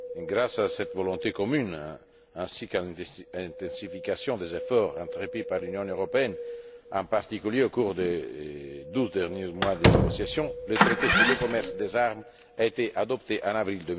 Grâce à cette volonté commune ainsi qu'à une intensification des efforts entrepris par l'Union européenne, en particulier au cours des douze derniers mois de négociation, le traité sur le commerce des armes a été adopté en avril